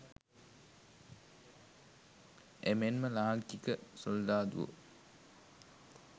එමෙන්ම ලාංකික සොල්දාදුවෝ